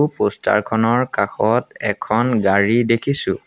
Poster খনৰ কাষত এখন গাড়ী দেখিছোঁ।